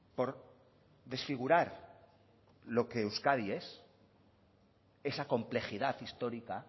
por desfigurar lo que euskadi es esa complejidad histórica